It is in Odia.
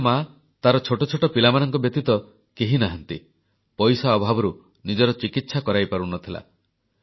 ମାଟିଏ ତାର ଛୋଟ ଛୋଟ ପିଲାମାନଙ୍କ ବ୍ୟତୀତ କେହି ନାହାନ୍ତି ପଇସା ଅଭାବରୁ ନିଜର ଚିକିତ୍ସା କରାଇପାରୁ ନ ଥିଲା